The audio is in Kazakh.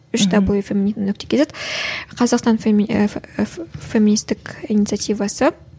үш даблю феминита нүкте кейзет қазақстан феминистик инициативасы